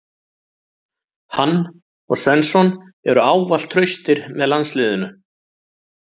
Hann og Svensson eru ávallt traustir með landsliðinu.